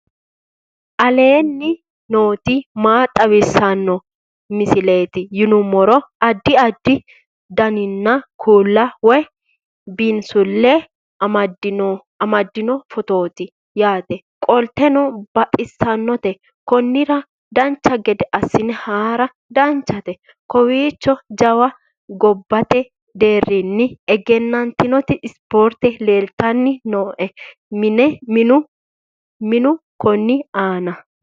aleenni nooti maa xawisanno misileeti yinummoro addi addi dananna kuula woy biinsille amaddino footooti yaate qoltenno baxissannote konnira dancha gede assine haara danchate kowiicho jawa gobbate deerinni egenatinoti sport leeltani nooe minu konni aana